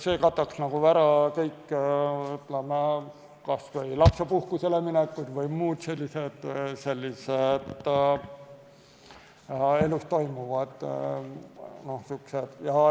See kataks ära kõik lapsepuhkusele minekud ja muu elus toimuva.